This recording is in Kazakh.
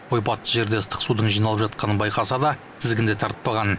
ойпатты жерде ыстық судың жиналып жатқанын байқаса да тізгінді тартпаған